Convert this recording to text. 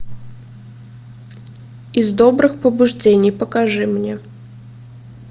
из добрых побуждений покажи мне